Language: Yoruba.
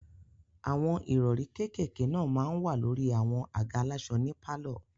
Àwọn ìrọ̀rí kékèké náà máa n wà lórí àwọn àga aláṣọ ní pálọ̀